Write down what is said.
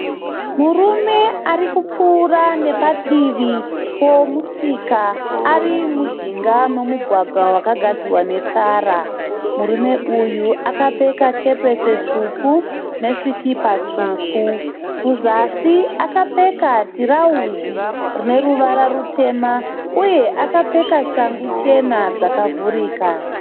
Murume arikupfuura nepadivi pemusika, arimujinga memugwagwa wakagadzirwa netara. Murume uyu akapfeka kepese. tsvuku nesikipa tsvuku. Kuzasi akapfeka tirauzi rineruvara rutema, uye akapfeka shangu chena dzakavhurika.